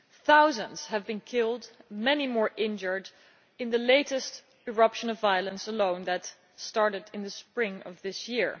Thousands have been killed and many more injured in the latest eruption of violence alone that started in the spring of this year.